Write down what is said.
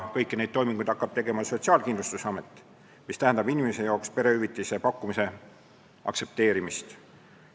Kõiki toiminguid hakkab tegema Sotsiaalkindlustusamet, inimese jaoks tähendab see perehüvitise pakkumise aktsepteerimist.